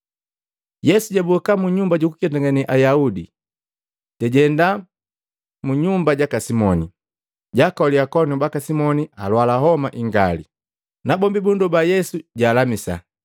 Yesu jaboka munyumba jukuketangane Ayaudi, jajenda munyumba jaka Simoni. Jaakolila akoanu baka simoni alwala homa ingali, nabombi bundoba Yesu jalamisa.